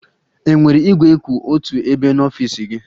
Enwere igwe kwụ otu ebe n'ọfịs gị?